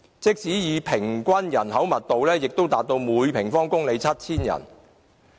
即使以平均人口密度計算，亦達到每平方公里 7,000 人。